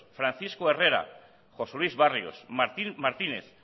francisco herrera josé luis barrios martín martínez